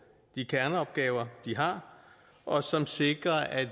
de kerneopgaver de har og som sikrer at